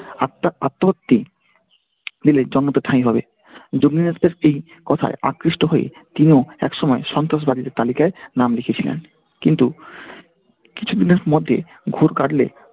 আত্মার আত্মহত্যি দিলে জন্মত ঠাঁই হবে, এই কথাই আকৃষ্ট হয়ে তিনিও একসময় সন্ত্রাসবাদীদের তালিকায় নাম লিখিয়েছিলেন। কিন্তু কিছুদিনের মধ্যে ঘোর কাটলে